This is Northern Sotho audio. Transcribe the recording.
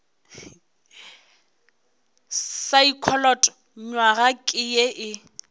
saekholot nywaga ke ye e